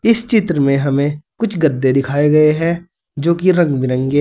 इस चित्र में हमें कुछ गद्दे दिखाए गए हैं जो कि रंग बिरंगे--